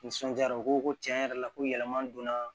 Nisɔndiyara o ko tiɲɛ yɛrɛ la ko yɛlɛma donna